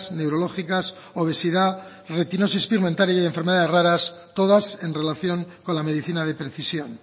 neurológicas obesidad retinosis pigmentaria y enfermedades raras todas en relación con la medicina de precisión